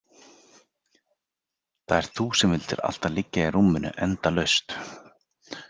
Það ert þú sem vildir alltaf liggja í rúminu endalaust.